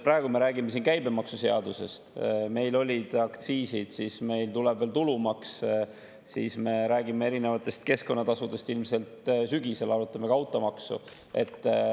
Praegu me räägime siin käibemaksuseadusest, meil olid aktsiisid, meil tuleb veel tulumaks, me räägime erinevatest keskkonnatasudest, ilmselt sügisel arutame ka automaksu.